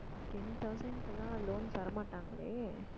ten thousand க்கு எல்லாம் loan தர மாட்டாங்களே